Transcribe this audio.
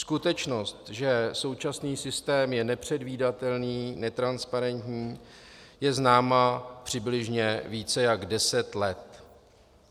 Skutečnost, že současný systém je nepředvídatelný, netransparentní, je známá přibližně více jak deset let.